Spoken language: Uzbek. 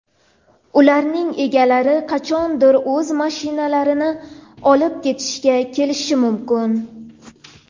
Ularning egalari qachondir o‘z mashinalarini olib ketishga kelishi mumkin.